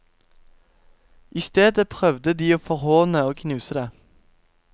I stedet prøvde de å forhåne og knuse det.